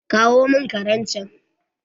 Kawo mun karen chan